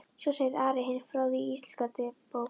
Svo segir Ari hinn fróði í Íslendingabók.